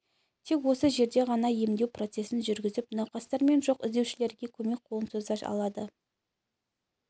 тек осы жерде ғана емдеу процесін жүргізіп науқастар мен жоқ іздеушілерге көмек қолын соза алады